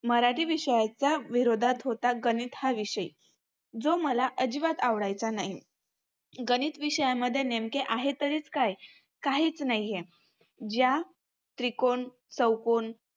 मराठी विषयाच्या विरोधात होता गणित हा विषय. जो मला अजिबात आवडायचा नाही. गणित विषयामध्ये नेमके आहे तरीच काय? काहीच नाहीये. ज्या त्रिकोण, चौकोन,